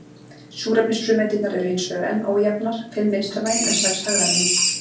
Súrefnisfrumeindirnar eru hins vegar enn ójafnar, fimm vinstra megin en sex hægra megin.